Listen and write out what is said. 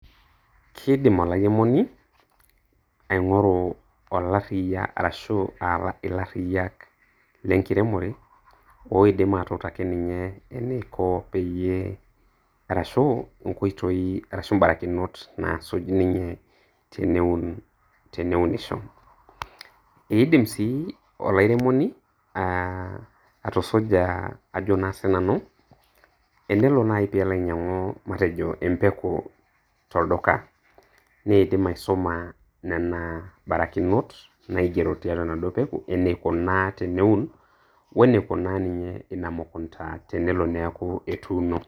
Kiidim olairemoni aing'oru olarriyia arashu aah ilarriyak lenkiremore, oidim atuutaki ninye eneiko peyie arashu nkoitoi arashu mbarakinot naasuj ninye teneun teneunisho. Eidim sii olairemoni aah atusuja ajo naa sii nanu, tenelo naaji peelo ainyang'u matejo empeku tolduka neidim aisuma nena barakinot naigero tiatua enaduo peku eneikunaa teneun weneikunaa ninye ina mukunda tenelo neeku etuuno.